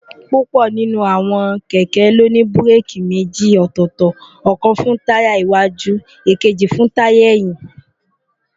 púpọ̀ nínú àwọn kẹ̀kẹ́ ló ní búréèkì méjì ọ̀tọ̀ọ̀tọ̀, ọ̀kan fún táyà iiwájú, èkejì fún táyà ẹ̀yìn